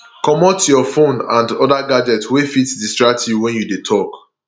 comot your phone and other gadget wey fit distract you when you dey talk